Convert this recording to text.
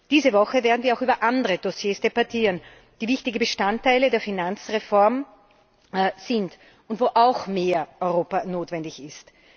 Diese Woche werden wir auch über andere Dossiers debattieren, die wichtige Bestandteile der Finanzreform sind und wo auch mehr Europa notwendig ist.